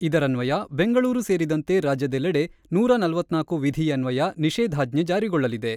ಇದರನ್ವಯ ಬೆಂಗಳೂರು ಸೇರಿದಂತೆ ರಾಜ್ಯದೆಲ್ಲೆಡೆ ನೂರ ನಲವತ್ತ್ ನಾಲ್ಕು ವಿಧಿಯನ್ವಯ ನಿಷೇಧಾಜ್ಞೆ ಜಾರಿಗೊಳ್ಳಲಿದೆ.